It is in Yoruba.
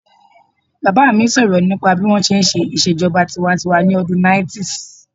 Bàbá mi sọ̀rọ̀ nípa bí wọ́n ṣe n ṣe ìṣèjọba tinwatinwa ní ọdún 90's